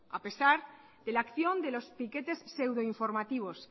a pesar de la acción de los piquetes pseudoinformativos